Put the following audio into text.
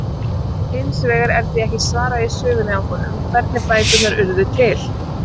Hins vegar er því ekki svarað í sögunni af honum, hvernig bækurnar urðu til!?